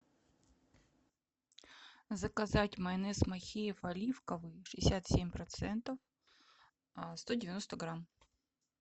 заказать майонез махеев оливковый шестьдесят семь процентов сто девяносто грамм